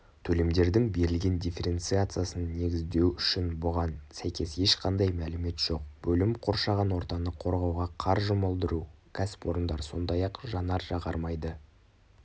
төлемдердің берілген дифференциациясын негіздеу үшін бұған сәйкес ешқандай мәлімет жоқ бөлім қоршаған ортаны қорғауға қар жұмылдыру кәсіпорындар сондай-ақ жанар-жағармайды